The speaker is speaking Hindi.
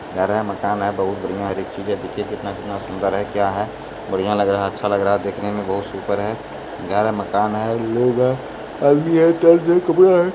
घर हैं मकान हैं बहुत बढ़िया हैं हर एक चिज्ज् देखिये कितना- कितना सुंदर हैं क्या हैं बढ़िया लग रहा अच्छा लग रहा देखने मे बहुत सुपर हैं घर हैं मकान हैं लोग हैं।